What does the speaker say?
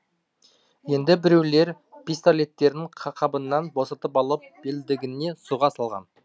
енді біреулер пистолеттерін қабынан босатып алып белдігіне сұға салған